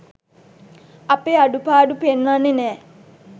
අපේ අඩුපාඩු පෙන්වන්නේ නෑ